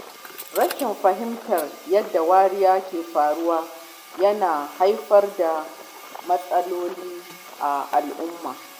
Rashin fahimtar yadda wariya ke faruwa yana haifar da matsaloli a al’umma.